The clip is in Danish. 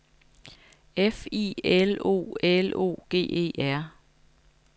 F I L O L O G E R